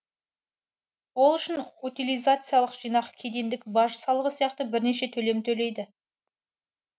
ол үшін утилизациялық жинақ кедендік баж салығы сияқты бірнеше төлем төлейді